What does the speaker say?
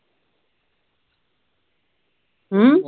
ਹੂ